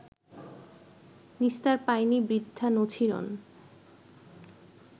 নিস্তার পায়নি বৃদ্ধা নছিরন